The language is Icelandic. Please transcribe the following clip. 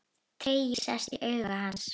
Tregi sest í augu hans.